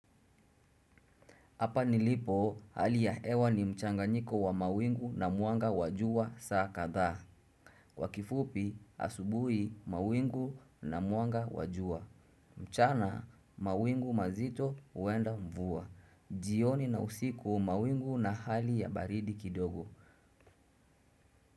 Hapa nilipo hali ya hewa ni mchanganyiko wa mawingu na mwanga wajua saa kadhaa. Kwa kifupi asubuhi mawingu na mwanga wa jua. Mchana mawingu mazito huenda mvua. Jioni na usiku mawingu na hali ya baridi kidogo.